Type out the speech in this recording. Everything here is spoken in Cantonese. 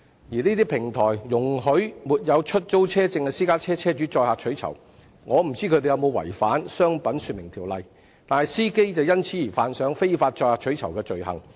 這些平台容許沒有出租汽車許可證的私家車車主載客取酬，我不知道有否違反《商品說明條例》，但司機卻會因而觸犯非法載客取酬的罪行。